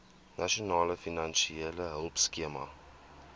nasionale finansiële hulpskema